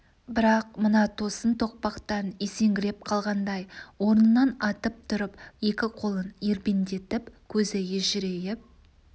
бірақ мына тосын тоқпақтан есеңгіреп қалғандай орнынан атып тұрып екі қолын ербеңдетіп көзі ежірейіп